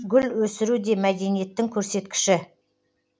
гүл өсіру де мәдениеттің көрсеткіші